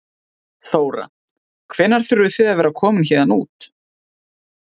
Þóra: Hvenær þurfið þið að vera komin héðan út?